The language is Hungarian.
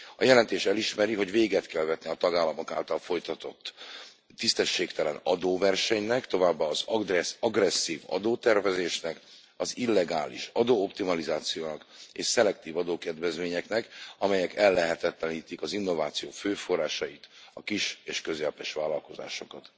A jelentés elismeri, hogy véget kell vetni a tagállamok által folytatott tisztességtelen adóversenynek, továbbá az agresszív adótervezésnek, az illegális adóoptimalizációnak és szelektív adókedvezményeknek, amelyek ellehetetlenítik az innováció fő forrásait, a kis és közepes vállalkozásokat.